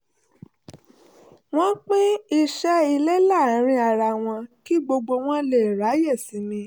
wọ́n pín iṣẹ́ ilé láàárín ara wọn kí gbogbo wọn lè ráyè sinmi